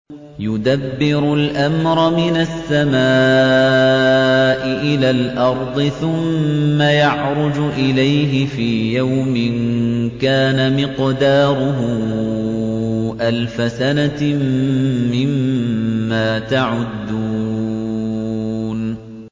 يُدَبِّرُ الْأَمْرَ مِنَ السَّمَاءِ إِلَى الْأَرْضِ ثُمَّ يَعْرُجُ إِلَيْهِ فِي يَوْمٍ كَانَ مِقْدَارُهُ أَلْفَ سَنَةٍ مِّمَّا تَعُدُّونَ